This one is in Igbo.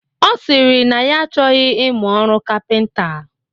Ọ sịrị na ya achọghị ịmụ ọrụ kapịnta